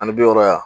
Ani bi wɔɔrɔ yan